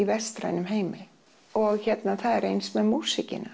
vestræna heimi og hérna það er eins með músíkina